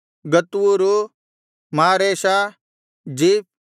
ಗತ್ ಊರು ಮಾರೇಷ ಜೀಫ್